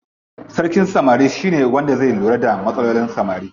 Sarkin samari shine wanda zai lura da matsalolin samarin.